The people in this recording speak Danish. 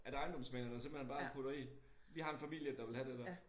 At ejendomsmæglerne simpelthen bare putter i vi har en familie der vil have det dér